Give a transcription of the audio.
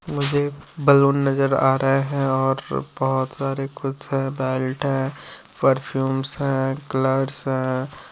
मुझे बैलून नज़र आ रहे है और बहुत सारे कुछ बेल्ट है पर्फुम्स हैं कलर्स हैं।